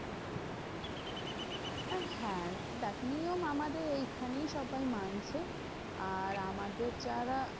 আহ হ্যাঁ দেখ নিয়ম আমাদের এইখানেই সবাই মানছে। আর আমাদের যারা